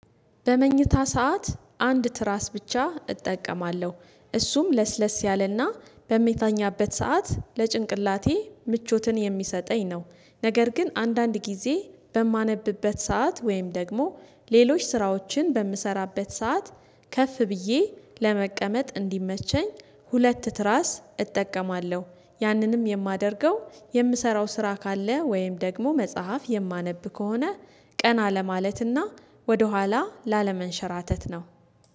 በመኝታ ሰዓት አንድ ትራስ ብቻ እጠቀማለሁ እሱም ለስለስ ያለና በምታኛበት ሰዓት ለጭንቅላቴ ምቾትን የሚሰጠኝ ነው። ነገር ግን አንዳንድ ጊዜ በማነብበት ሰዓት ወይም ደግሞ ሌሎች ስራዎችን በምሰራበት ሰዓት ከፍ ብዬ ለመቀመጥ እንዲመቸኝ ሁለት ትራስ እጠቀማለሁ ያንንም የማደርገው የምሰራው ስራ ካለ ወይም ደግሞ መጽሐፍ የማነብ ከሆነ ቀና ለማለትና ወደኋላ ላለመንሸራተት ነው።